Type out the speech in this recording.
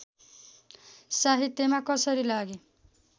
साहित्यमा कसरी लागेँ